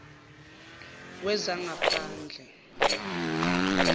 wezangaphandle